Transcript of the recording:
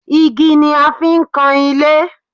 Igi ni a fi ń kan ilé